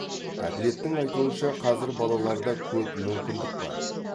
әділеттің айтуынша қазір балаларда көп мүмкіндік бар